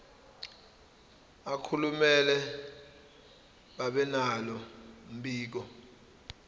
akumele babenalo mbiko